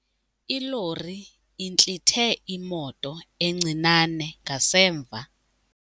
Ilori intlithe imoto encinane ngasemva.